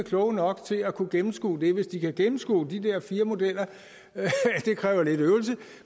kloge nok til at kunne gennemskue det hvis de kan gennemskue de der fire modeller det kræver lidt øvelse